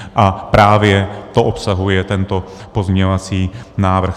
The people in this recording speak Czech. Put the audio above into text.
A právě to obsahuje tento pozměňovací návrh.